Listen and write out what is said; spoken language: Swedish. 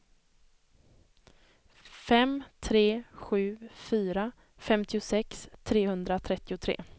fem tre sju fyra femtiosex trehundratrettiotre